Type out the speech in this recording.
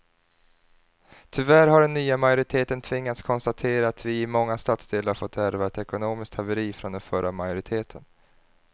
Tyvärr har den nya majoriteten tvingats konstatera att vi i många stadsdelar fått ärva ett ekonomiskt haveri från den förra majoriteten.